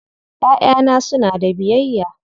Ƴaƴana suna da biyayya.